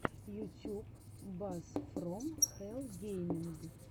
ютьюб бас фром хэлл гейминг